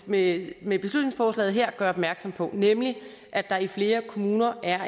med med beslutningsforslaget her gør opmærksom på nemlig at der i flere kommuner er